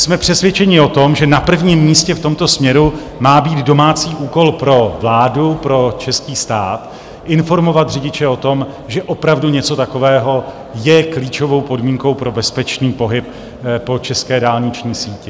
Jsme přesvědčeni o tom, že na prvním místě v tomto směru má být domácí úkol pro vládu, pro český stát, informovat řidiče o tom, že opravdu něco takového je klíčovou podmínkou pro bezpečný pohyb po české dálniční síti.